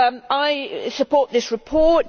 I support this report